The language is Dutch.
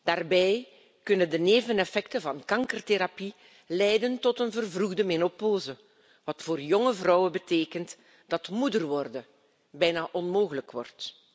Daarbij kunnen de neveneffecten van kankertherapie leiden tot een vervroegde menopauze, wat voor jonge vrouwen betekent dat moeder worden bijna onmogelijk wordt.